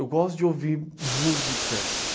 Eu gosto de ouvir músicas.